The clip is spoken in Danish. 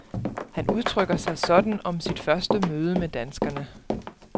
Han udtrykker sig sådan om sit første møde med danskerne.